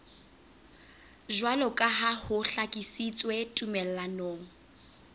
jwaloka ha ho hlakisitswe tumellanong